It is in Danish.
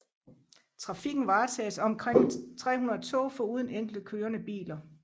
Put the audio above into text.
Trafikken varetages af omkring 300 tog foruden enkelte kørende biler